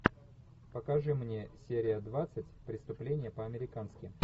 покажи мне серия двадцать преступление по американски